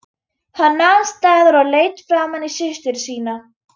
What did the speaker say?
Hann nam staðar og leit framan í systur sína.